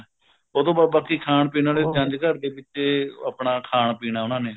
ਉਹਤੋਂ ਬਾਅਦ ਬਾਕੀ ਖਾਣ ਪੀਣ ਵਾਲੇ ਜੰਝ ਘਰ ਦੇ ਵਿੱਚ ਉਹ ਆਪਣਾ ਖਾਣ ਪੀਣਾ ਉਹਨਾ ਨੇ